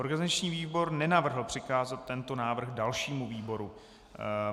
Organizační výbor nenavrhl přikázat tento návrh dalšímu výboru.